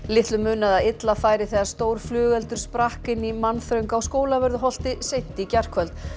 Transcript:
litlu munaði að illa færi þegar stór flugeldur sprakk inni í mannþröng á Skólavörðuholti seint í gærkvöld